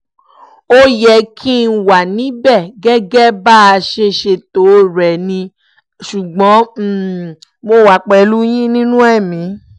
ó yẹ kí n wà níbẹ̀ gẹ́gẹ́ bá a ṣe ṣètò rẹ̀ ni ṣùgbọ́n mo wà pẹ̀lú yín nínú ẹ̀mí